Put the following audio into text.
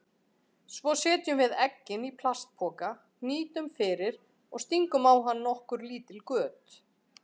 Svo setjum við eggin í plastpoka, hnýtum fyrir og stingum á hann nokkur lítil göt.